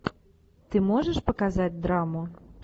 ты можешь показать драму